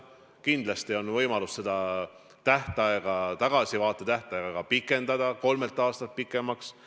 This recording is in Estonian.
Kindlasti on võimalus seda tagasivaate tähtaega pikendada, kolmelt aastalt pikemaks.